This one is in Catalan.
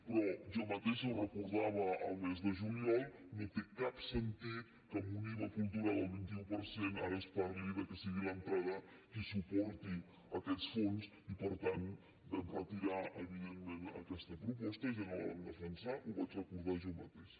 però jo mateixa ho recordava el mes de juliol no té cap sentit que amb un iva cultural al vint un per cent ara es parli que sigui l’entrada la que suporti aquests fons i per tant vam retirar evidentment aquesta proposta i ja no la vam defensar ho vaig recordar jo mateixa